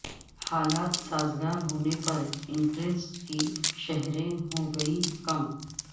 حالات سازگار ہونے پر انٹریسٹ کی شرحیں ہوں گی کم